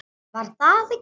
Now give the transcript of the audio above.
Var það ekki!